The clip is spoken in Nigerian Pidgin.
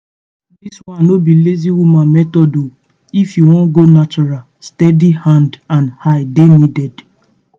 this one no be lazy woman method o. if you wan go natural steady hand and eye dey needed.